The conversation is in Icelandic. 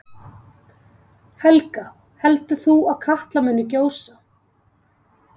Helga: Heldur þú að Katla muni gjósa?